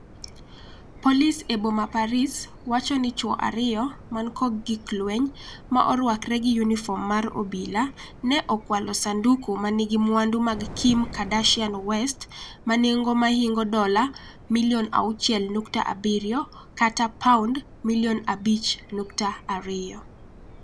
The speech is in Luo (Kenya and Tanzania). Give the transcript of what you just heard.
Polis e boma Paris wacho ni chwo ariyo man kod gik lweny, ma orwakore gi yunifom mar obila, ne okwalo sanduku ma nigi mwandu mag Kim Kardashian West manengo mahingo dola milion 6.7 (£5.2m).